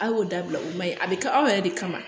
A y'o dabila o ma ɲi a bɛ kɛ aw yɛrɛ de kama